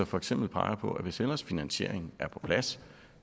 for eksempel peger på at hvis ellers finansieringen er på plads